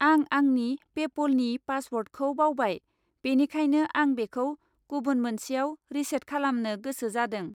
आं आंनि पेप'लनि पासवार्डखौ बावबाय, बेनिखायनो आं बेखौ गुबुन मोनसेआव रिसेट खालामनो गोसो जादों।